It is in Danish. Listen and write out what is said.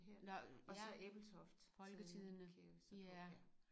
Nåh ja folketidene ja